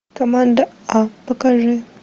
команда а покажи